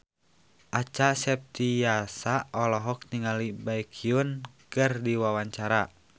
Acha Septriasa olohok ningali Baekhyun keur diwawancara